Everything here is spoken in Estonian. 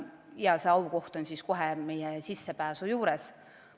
Ja nende lippude koht oleks kohe meie sissepääsu juures.